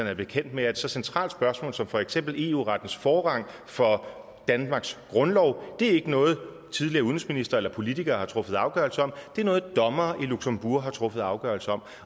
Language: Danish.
er bekendt med at et så centralt spørgsmål som for eksempel eu rettens forrang for danmarks grundlov ikke er noget tidligere udenrigsministre eller politikere har truffet afgørelse om det er noget dommere i luxembourg har truffet afgørelse om